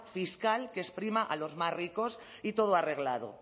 fiscal que es prima a los más ricos y todo arreglado